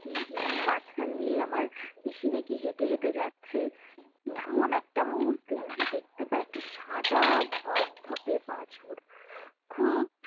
মাঝখান দিয়ে আমার পিসি নাকি হেটে হেটে যাচ্ছে এমন একটা মুহূর্তে দেখতে কি পায় সাদা ধবধবে বাছুর খুব